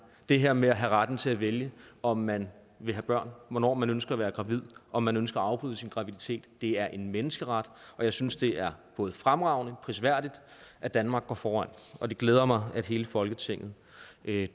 det her med at have retten til at vælge om man vil have børn hvornår man ønsker at være gravid om man ønsker at afbryde sin graviditet er en menneskeret og jeg synes det er både fremragende og prisværdigt at danmark går foran og det glæder mig at hele folketinget